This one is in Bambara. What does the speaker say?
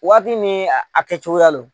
Waati min a kɛ cogoya don